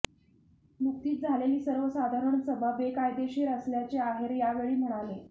नुकतीच झालेली सर्वसाधारण सभा बेकायदेशीर असल्याचे आहेर यावेळी म्हणाले